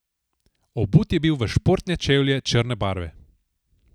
Obut je bil v športne čevlje črne barve.